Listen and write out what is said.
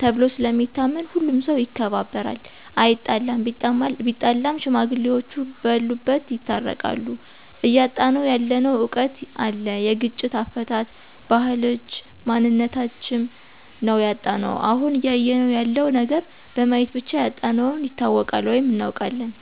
ተብሎ ስለሚታመን ሁሉም ሠው ይከባበራል አይጣለም ቢጣላም ሽማግሌዎቹ በሉበት ይታረቃሉ። እያጣነው ያለነው እውቀት አለ የግጭት አፈታት፣ ባህልች እምነታችም ነው ያጣነው። አሁን እያየነው ያለው ነገር በማየት ብቻ ያጣነውን ይታወቃል ወይም እናውቃለን።